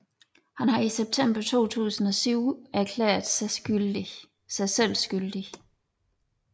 Han havde i september 2007 erklæret sig selv skyldig